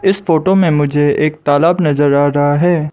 इस फोटो में मुझे एक तालाब नजर आ रहा है।